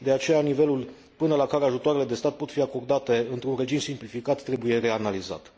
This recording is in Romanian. De aceea, nivelul până la care ajutoarele de stat pot fi acordate într un regim simplificat trebuie reanalizat.